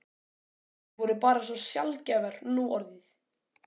Þær voru bara svo sjaldgæfar núorðið.